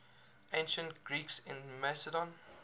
ancient greeks in macedon